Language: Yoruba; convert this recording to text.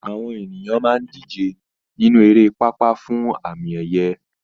Àwọn ènìyàn máa ń díje nínú eré pápá fún àmì ẹ̀yẹ